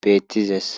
beettizees